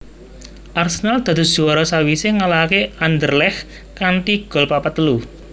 Arsenal dados juwara sawisé ngalahaké Anderlecht kanthi gol papat telu